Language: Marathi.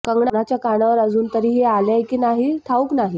कंगनाच्या कानावर अजून तरी हे आलंय की नाही ठाऊक नाही